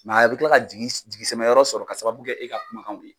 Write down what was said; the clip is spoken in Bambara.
a bɛ kila ka jigi, jigisɛmɛ yɔrɔ sɔrɔ ka sababu kɛ e ka kumakanw ye.